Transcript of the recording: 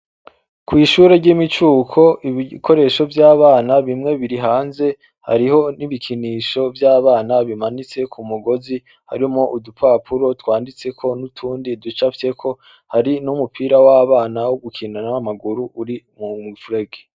kw'ishure ry'imicuko, ibikoresho vy'abana bimwe biri hanze. Hariho n'ibikinisho vy'abana bimanitse ku mugozi, harimwo udupapuro twanditseko n'utundi ducafyeko. Hari n'umupira w'abana wo gukina n'amaguru uri mu mufurege.